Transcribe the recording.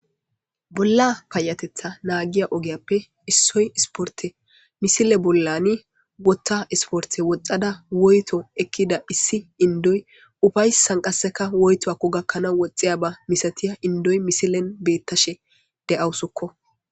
bolla payatetha naagiya ogeyappe issoy isporte misile bollani wotta isporte woxxada woyto ekkida issi indoy ufaysan qasseka woytoakko gakkana woxxiya ba misatiya indoy misilen beettashe de7awusukko